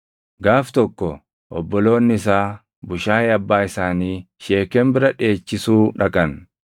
Gaaf tokko obboloonni isaa bushaayee abbaa isaanii Sheekem bira dheechisuu dhaqan;